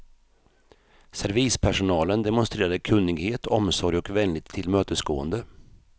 Servispersonalen demonstrerade kunnighet, omsorg och vänligt tillmötesgående.